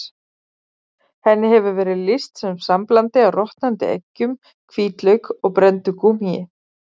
Henni hefur verið lýst sem samblandi af rotnandi eggjum, hvítlauk og brenndu gúmmíi.